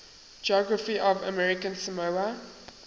geography of american samoa